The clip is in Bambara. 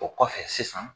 O kɔfɛ sisan